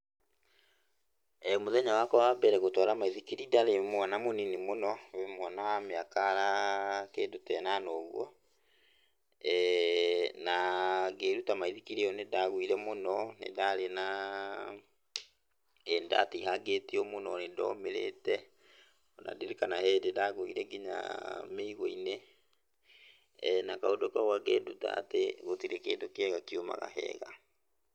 Mũthenya wakwa wa mbere gũtwara maithikiri ndarĩ mwana mũnini mũno, mwana wa mĩaka kĩndũ ta ĩnana ũguo na ngĩruta maithikiri ĩyo nĩndagũire mũno, nĩndarĩ na, nĩndatihangĩtio mũno no nĩndomĩrĩte na ndirikanaga he hĩndĩ ndagũite nginya mĩigua-inĩ na kaũndũ kau kakĩnduta atĩ gũtirĩ kĩndũ kĩega kiumaga hega.